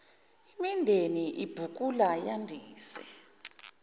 imindeni ibhukula yandisa